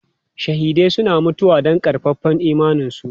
Shahidai suna mutuwa don ƙaƙƙarfan imaninsu.